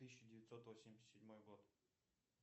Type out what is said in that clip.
тысяча девятьсот восемьдесят седьмой год